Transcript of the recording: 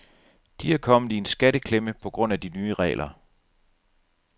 De er kommet i en skatteklemme på grund af de nye regler.